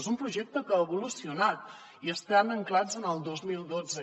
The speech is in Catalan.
és un projecte que ha evolucionat i estan ancorats en el dos mil dotze